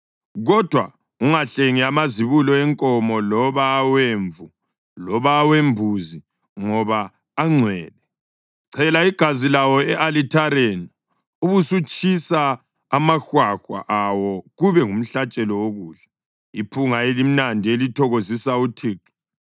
Kodwa ungahlengi amazibulo enkomo, loba awemvu loba awembuzi; ngoba angcwele. Chela igazi lawo e-alithareni ubusutshisa amahwahwa awo kube ngumhlatshelo wokudla, iphunga elimnandi elithokozisa uThixo.